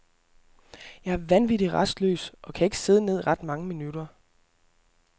Jeg er vanvittig rastløs og kan ikke sidde ned ret mange minutter.